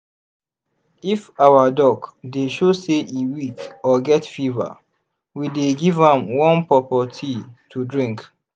if our duck dey show say e weak or get fever we dey give am warm pawpaw tea to drink.